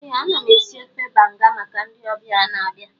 Ee, ana m esi ofe banga maka ndị ọbịa ga-abịa